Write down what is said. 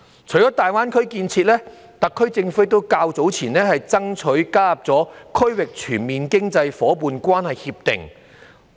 除了大灣區建設，特區政府較早前亦爭取加入《區域全面經濟伙伴關係協定》。